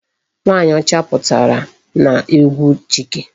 Nwaanyị ọcha pụtara n'egwu Chike.